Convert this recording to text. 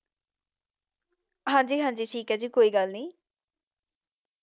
ਹਾਂਜੀ ਹਾਂਜੀ ਠੀਕ ਹੈ ਜੀ ਕੋਈ ਗੱਲ ਨੀ।